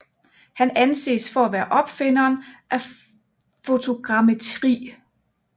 Han anses for at være opfinderen af fotogrammetri